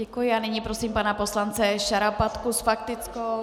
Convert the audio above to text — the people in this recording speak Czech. Děkuji a nyní prosím pana poslance Šarapatku s faktickou.